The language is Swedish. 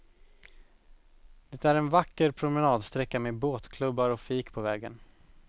Det är en vacker promenadsträcka med båtklubbar och fik på vägen.